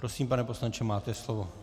Prosím, pane poslanče, máte slovo.